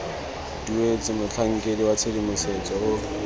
duetswe motlhankedi wa tshedimosetso o